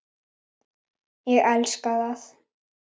Ég elska það.